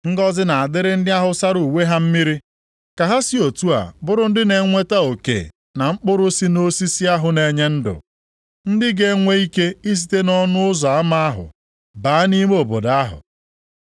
“Ngọzị na-adịrị ndị ahụ sara uwe ha mmiri, ka ha si otu a bụrụ ndị na-enweta oke na mkpụrụ si nʼosisi ahụ na-enye ndụ, ndị ga-enwe ike isite nʼọnụ ụzọ ama ahụ baa nʼime obodo ahụ.